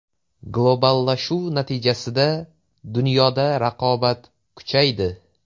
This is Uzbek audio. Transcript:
Globallashuv natijasida dunyoda raqobat kuchaydi.